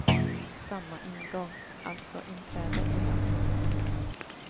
Samma ingång, alltså inträde ibland.